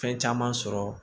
Fɛn caman sɔrɔ